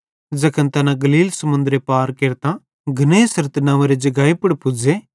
ज़ैखन तैना गलील समुन्दर पार केरतां गन्नेसरत नंव्वेरे जगाई पुड़ पुज़्ज़े